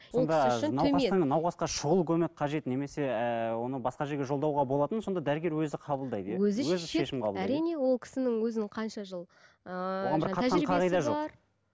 науқасқа шұғыл көмек қажет немесе ііі оны басқа жерге жолдауға болатынын сонда дәрігер өзі қабылдайды иә әрине ол кісінің өзінің қанша жыл